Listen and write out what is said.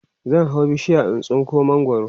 zan hau bishiya in tsinko mangwaro